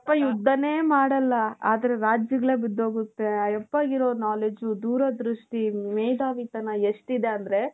ಯಪ್ಪಾ ಯುದ್ಧಾನೆ ಮಾಡಲ್ಲ ಆದರೆ ರಾಜ್ಯಗಳೇ ಬಿದ್ದೋಗುತ್ತೆ. ಆ ಯಪ್ಪಾಗಿರೋ knowledge, ದೂರ ದೃಷ್ಟಿ, ಮೇಧಾವಿತನ ಎಷ್ಟಿದೆ ಅಂದ್ರೆ .